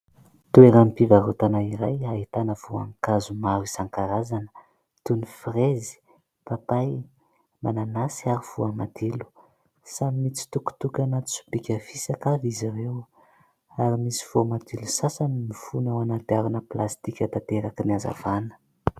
Toeram-pivarotana iray ahitana voankazo maro isan-karazana toy ny frezy, papay, mananasy ary voamadilo. Samy mitsitokotoko anaty sobika fisaka avy izy ireo ary misy voamadilo sasany mifono ao anaty harona plastika tanterakin' ny azavana.